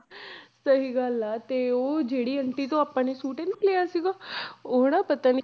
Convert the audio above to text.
ਸਹੀ ਗੱਲ ਹੈ ਤੇ ਉਹ ਜਿਹੜੀ ਆਂਟੀ ਤੋਂ ਆਪਾਂ ਨੇ ਸੂਟ ਨੀ ਲਿਆ ਸੀਗਾ ਉਹ ਨਾ ਪਤਾ ਨੀ